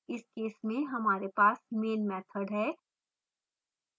इस केस में हमारे पास main मैथड है